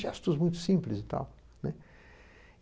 gestos muito simples e tal, né?